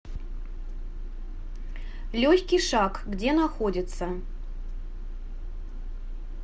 легкий шаг где находится